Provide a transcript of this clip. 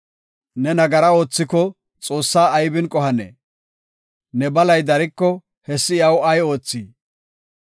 Ne nagara oothiko Xoossaa aybin qohanee? Ne balay dariko hessi iyaw ay oothii?